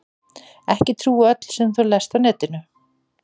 Ekki trúa öllu sem þú lest á netinu.